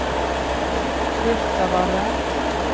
Birtavarre